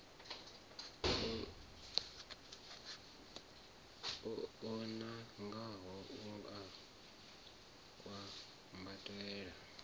o nangwaho u a kwambatela